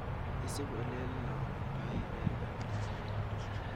isup olelangdai peek ap korot